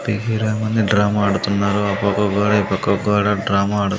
తెహిరామ్ అనే డ్రామా ఆడుతున్నారు ఆ పక్క గోడ ఈ పక్క గోడ డ్రామా ఆడు--